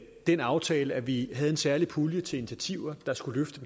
den aftale at vi havde en særlig pulje til initiativer der skulle løfte